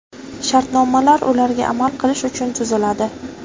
Shartnomalar ularga amal qilish uchun tuziladi.